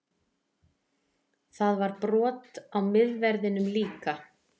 Það var brot á miðverðinum líka